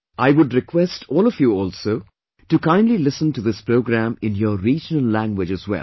I would request all of you also to kindly listen to this programme in your regional language as well